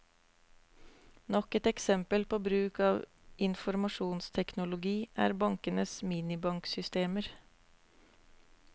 Nok et eksempel på bruk av informasjonsteknologi er bankenes minibanksystemer.